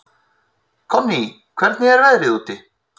Konný, hvernig er veðrið úti?